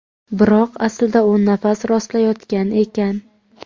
Biroq aslida u nafas rostlayotgan ekan.